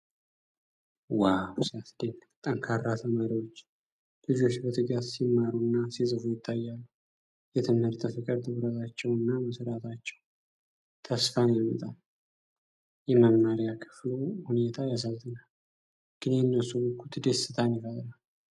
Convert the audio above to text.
ዋው ሲያስደንቅ! ጠንካራ ተማሪዎች! ልጆች በትጋት ሲማሩና ሲጽፉ ይታያሉ። የትምህርት ፍቅር! ትኩረታቸውና መሥራታቸው ተስፋን ያመጣል። የመማሪያ ክፍሉ ሁኔታ ያሳዝናል፣ ግን የእነሱ ጉጉት ደስታን ይፈጥራል።